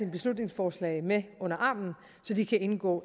beslutningsforslag med under armene så de kan indgå